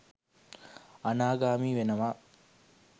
අනාගාමී වෙනවා